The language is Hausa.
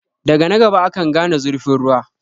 Daga na gaba akan gane zurfin ruwa.